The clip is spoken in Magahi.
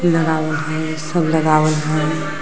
सब लगावल हइ।